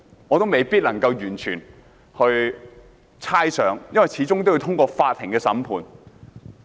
我不能猜想，因為始終要通過法院審判。